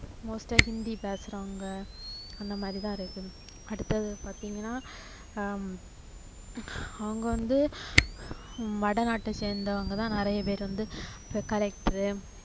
most ஆ ஹிந்தி பேசறவங்க அந்தமாதிரி தான் இருக்குது அடுத்தது பாத்தீங்கன்னா ஆஹ் அவங்க வந்து வடநாட்டை சேர்ந்தவங்கதான் நிறைய பேர் வந்து இப்போ collector